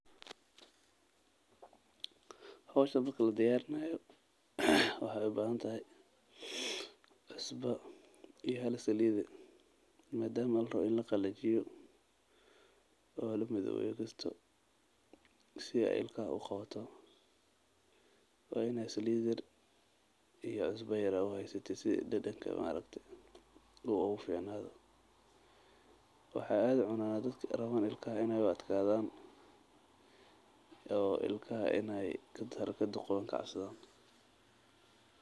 Howshan marka la diyarinayo waxeey ubahan tahay cusba iyo hala saliid ah madama larabo in laqalajiyo si dadanka aad ugu ficnaato waxaad aad ucunaa dadka rabaan inaay ilkaha u adkaadan.